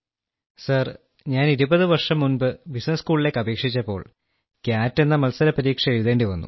sir ഞാൻ 20 വർഷം മുൻപ് ബിസിനസ്സ് സ്കൂളിലേക്ക് അപേക്ഷിച്ചപ്പോൾ കാട്ട് എന്ന മത്സര പരീക്ഷ എഴുതേണ്ടി വന്നു